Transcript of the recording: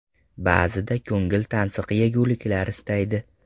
Ba’zida ko‘ngil tansiq yeguliklar istaydi.